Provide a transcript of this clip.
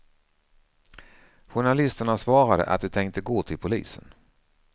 Journalisterna svarade att de tänkte gå till polisen.